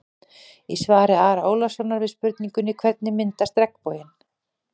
Í svari Ara Ólafssonar við spurningunni: Hvernig myndast regnboginn?